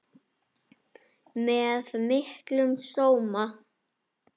Með miklum sóma.